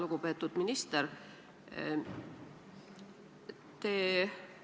Lugupeetud minister!